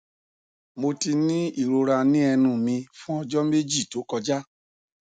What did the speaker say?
mo ti ní ìrora ní ẹnu mi fún ọjọ méjì tó kọjá